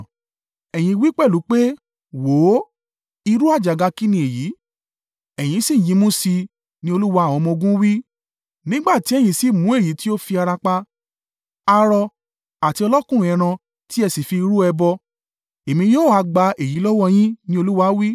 Ẹ̀yin wí pẹ̀lú pé, ‘Wò ó, irú àjàgà kín ni èyí!’ Ẹ̀yin sì yínmú sí i,” ní Olúwa àwọn ọmọ-ogun wí. “Nígbà tí ẹ̀yin sì mú èyí tí ó fi ara pa, arọ àti ọlọkùnrùn ẹran tí ẹ sì fi rú ẹbọ, Èmi o ha gba èyí lọ́wọ́ yín?” ni Olúwa wí.